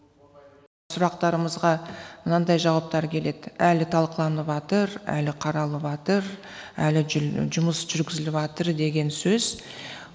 сұрақтарымызға мынандай жауаптар келеді әлі талқыланыватыр әлі қаралыватыр әлі жұмыс жүргізіліватыр деген сөз